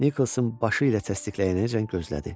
Nikolson başı ilə təsdiqləyənəcən gözlədi.